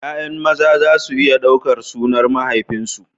Ya'yan maza za su iya ɗaukar sunan mahaifinsu.